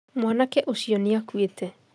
Mwanake ũcio nĩ akũĩte